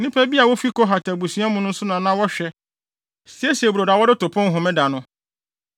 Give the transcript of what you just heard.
Na nnipa bi a wofi Kohat abusua mu nso na na wɔhwɛ, siesie brodo a wɔde to pon Homeda no.